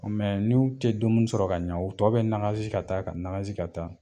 n'u tɛ dumuni sɔrɔ ka ɲa, u tɔ bɛ nagazi ka taa, ka nagazi ka taa